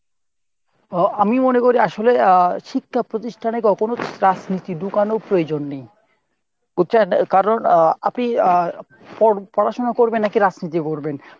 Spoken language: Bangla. ও আমি মোনে করি আসলে আহ শিক্ষা প্রতিষ্ঠানে কখনো রাজনীতি ঢুকানোর প্রয়োজন নেই বুঝছেন? কারণ আহ আপনি আহ পড়াশুনা করবেন নাকি রাজনীতি করবেন?